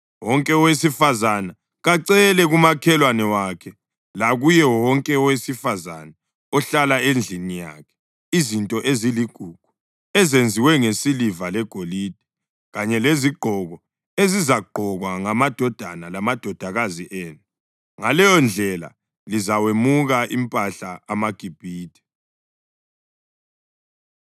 Wonke owesifazane kacele kumakhelwane wakhe lakuye wonke owesifazane ohlala endlini yakhe izinto eziligugu ezenziwe ngesiliva legolide kanye lezigqoko ezizagqokwa ngamadodana lamadodakazi enu. Ngaleyondlela lizawemuka impahla amaGibhithe.”